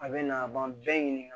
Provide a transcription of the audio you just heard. A bɛ na a b'an bɛɛ ɲininka